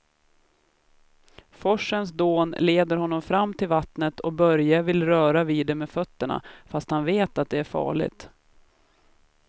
Forsens dån leder honom fram till vattnet och Börje vill röra vid det med fötterna, fast han vet att det är farligt.